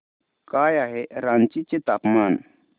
काय आहे रांची चे तापमान